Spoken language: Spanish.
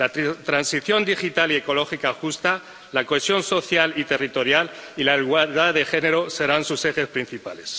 La transición digital y ecológica justa, la cohesión social y territorial y la igualdad de género serán sus ejes principales.